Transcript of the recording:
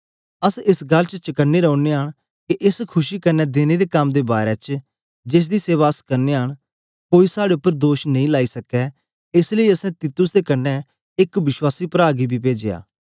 अस एस गल्ल च चक्न्नें रौनयां न के एस खुशी क्न्ने देने दे कम दे बारै च जेसदी सेवा अस करनयां न कोई साड़े उपर दोष नेई लाई सकै एस लेई असैं तीतुस दे कन्ने एक विश्वासी प्रा गी बी पेजया